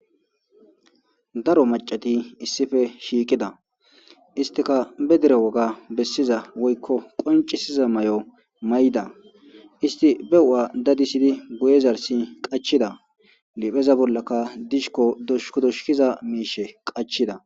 Daro macati issife shiikida istika be dere woga bessiza woykko qoncisiza may'o may'da isti be u'a dadisidi guye zarsi qachida lipheza bollaka dishkko doshuk doshkiza miishe qachida.